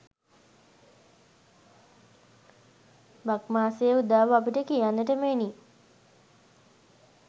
බක් මාසයේ උදාව අපට කියන්නට මෙනි.